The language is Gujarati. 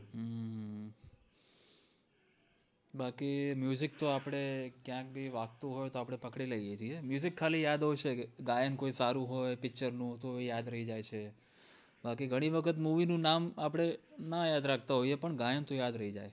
બાકી તો આપડે ક્યાં થી વાગતું હોય તોં આપડે પકડી લાયે છે ખાલી હોય છે કે ગાયન કોઈ સારું હોય picture નું તો યાદ રાય જાય છે બાકી ઘણી વખત movie નું નામ આપડે ના યાદ રાખત હોય તો ગાયન તો યાદ રય જાય છે